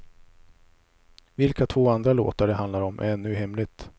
Vilka två andra låtar det handlar om är ännu hemligt.